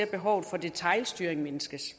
behovet for detailstyring mindskes